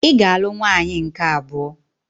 Ị ga-alụ nwaanyị nke abụọ.